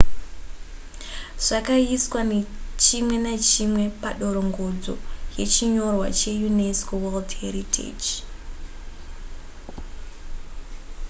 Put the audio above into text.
zvakaiswa chimwe nechimwe padorongodzo yechinyorwa cheunesco world heritage